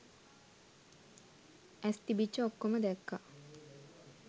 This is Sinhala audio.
ඇස් තිබිච්ච ඔක්කොම දැක්ක